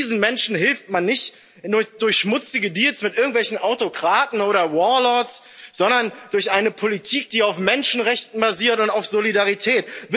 Diesen Menschen hilft man nicht durch schmutzige Deals mit irgendwelchen Autokraten oder Warlords, sondern durch eine Politik, die auf Menschenrechten basiert auf Solidarität.